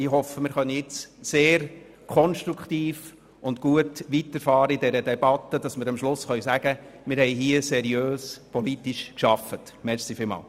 Ich hoffe, dass wir nun sehr konstruktiv und gut mit dieser Debatte weiterfahren können, sodass wir am Schluss sagen können, wir hier seriös politisch gearbeitet zu haben.